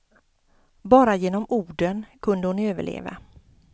Bara genom orden kunde hon överleva.